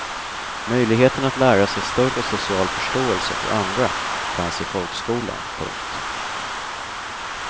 Möjligheten att lära sig större social förståelse för andra fanns i folkskolan. punkt